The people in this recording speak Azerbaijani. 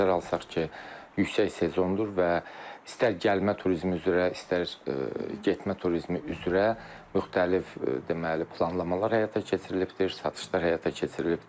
Nəzərə alsaq ki, yüksək sezondur və istər gəlmə turizmi üzrə, istər getmə turizmi üzrə müxtəlif deməli, planlamalar həyata keçirilibdir, satışlar həyata keçirilibdir.